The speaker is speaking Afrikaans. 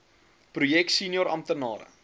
projek senior amptenare